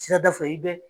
Sirada fɛ i be